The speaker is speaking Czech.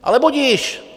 Ale budiž.